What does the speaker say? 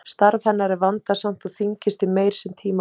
Starf hennar er vandasamt og þyngist því meir sem tíma líða.